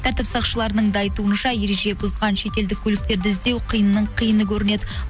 тәртіп сақшылардың да айтуынша ереже бұзған шет елдік көліктерді іздеу қиынның қиыны көрінеді